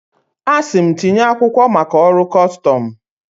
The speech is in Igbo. A sị m, tinye akwụkwọ maka ọrụ custọmụ.